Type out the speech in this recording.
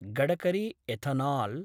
Gadkari ethanol